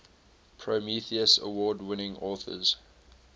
prometheus award winning authors